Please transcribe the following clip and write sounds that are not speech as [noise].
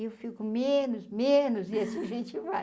E eu fico menos, menos, [laughs] e assim a gente vai.